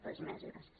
res més i gràcies